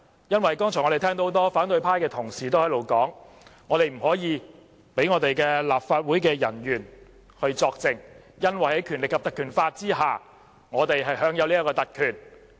剛才聽見不少反對派同事表示，不能讓立法會人員作證，因為在《條例》的保障下，我們享有這項特權。